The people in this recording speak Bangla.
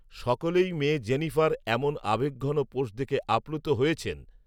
সকলেই মেয়ে জেনিফার এমন আবেগঘন পোস্ট দেখে আপ্লূত হয়েছেন